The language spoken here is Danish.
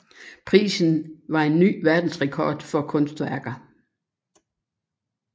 Prisen var en ny verdensrekord for kunstværker